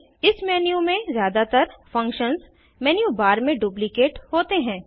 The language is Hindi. इस मेन्यू में ज़्यादातर फंक्शन्स मेन्यू बार में डुप्लीकेट होते हैं